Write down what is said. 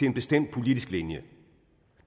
en bestemt politisk linje